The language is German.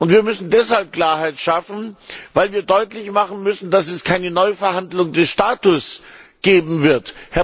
Wir müssen deshalb Klarheit schaffen, weil wir deutlich machen müssen, dass es keine Neuverhandlung des Status geben wird.